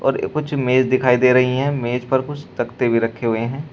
और कुछ मेज दिखाई दे रही है मेंज पर कुछ तख्ते भी रखे हुए हैं।